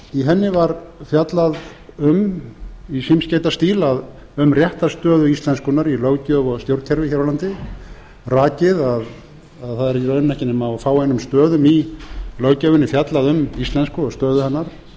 í henni var fjallað um í símskeytastíl um réttarstöðu íslenskunnar í löggjöf og stjórnkerfi hér á landi rakið að það er í raun ekki nema á fáeinum stöðum í löggjöfinni fjallað um íslensku og stöðu hennar það er